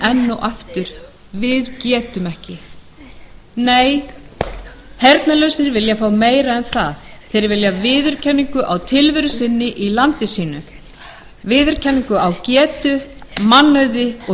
og aftur við getum ekki nei heyrnarlausir vilja fá meira en það þeir vilja viðurkenningu á tilveru sinni í landi sínu viðurkenningu á getu mannauði og